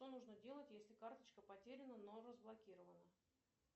что нужно делать если карточка потеряна но разблокирована